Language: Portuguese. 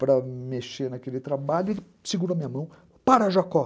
para mexer naquele trabalho, ele segura a minha mão, para, Jacó.